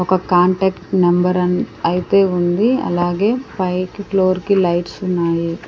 ఒక contact number అన్-- అయితే ఉంది అలాగే పైకి ఫ్లోర్ కి లైట్స్ ఉన్నాయి.